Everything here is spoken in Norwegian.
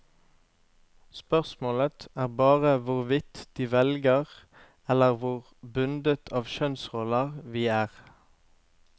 Spørsmålet er bare hvor fritt de velger eller hvor bundet av kjønnsroller vi er.